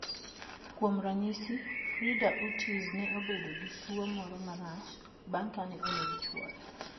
Kuom ranyisi, Frida Urtiz, ne obedo gi tuwo moro marach bang' kane oneg chwore.